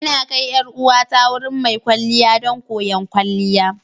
Ina kai 'yar uwata wurin mai kwalliya don koyon kwalliya.